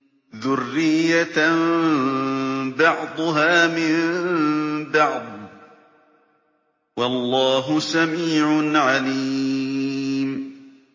ذُرِّيَّةً بَعْضُهَا مِن بَعْضٍ ۗ وَاللَّهُ سَمِيعٌ عَلِيمٌ